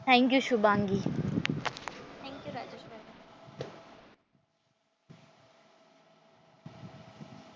Thank you Shubhangi.